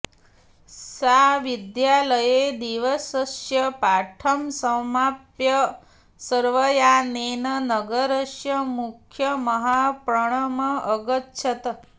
सा विद्यालये दिवसस्य पाठं समाप्य सर्वयानेन नगरस्य मुख्यमहापणम् अगच्छत्